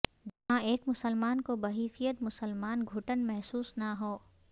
جہاں ایک مسلمان کو بحیثیت مسلمان گھٹن محسوس نہ ہو